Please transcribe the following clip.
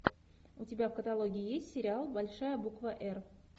у тебя в каталоге есть сериал большая буква р